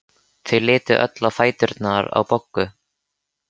Þau litu öll á fæturna á Boggu.